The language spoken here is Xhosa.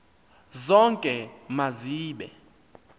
zonke ma zibe